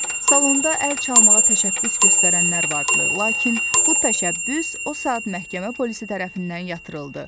Salonda əl çalmağa təşəbbüs göstərənlər vardı, lakin bu təşəbbüs o saat məhkəmə polisi tərəfindən yatırıldı.